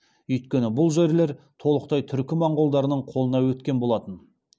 үйткені бұл жерлер толықтай түркі моңғолдардың қолына өткен болатын